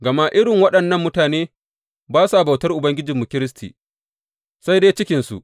Gama irin waɗannan mutane ba sa bautar Ubangijinmu Kiristi, sai dai cikinsu.